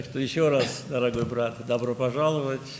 Beləliklə, bir daha, əziz qardaş, xoş gəlmisiniz.